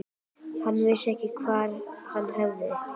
Hann vissi ekki hvar hann hafði hann.